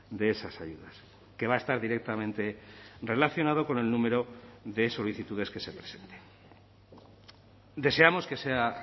de esas ayudas que va a estar directamente relacionado con el número de solicitudes que se presenten deseamos que sea